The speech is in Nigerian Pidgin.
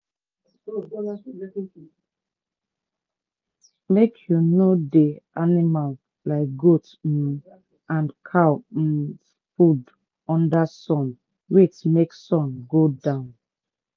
make u no dey animal like goat um and cow um food under sun wait make sun go down.